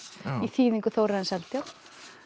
í þýðingu Þórarins Eldjárn